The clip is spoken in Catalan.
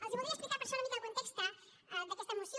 els voldria explicar per això una mica el context d’aquesta moció